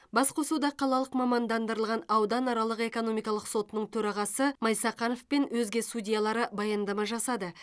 басқосуда қалалық мамандандырылған ауданаралық экономикалық сотының төрағасы майсақанов пен өзге судьялары баяндама жасады